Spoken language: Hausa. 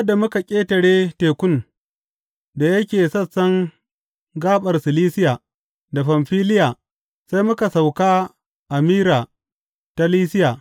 Sa’ad da muka ƙetare tekun da yake sassan gaɓar Silisiya da Famfiliya sai muka sauka a Mira ta Lisiya.